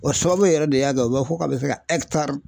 O sababu yɛrɛ de y'a kɛ u b'a fɔ k'a bɛ se ka